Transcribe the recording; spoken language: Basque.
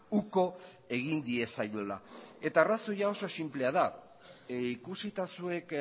uko egin diezaiola eta arrazoia oso sinplea da ikusita zuek